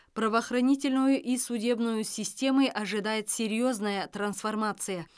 правоохранительную и судебную системы ожидает серьезная трансформация